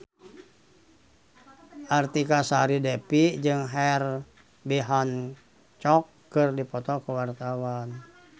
Artika Sari Devi jeung Herbie Hancock keur dipoto ku wartawan